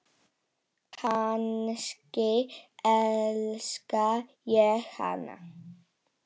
Kannski elska ég hana?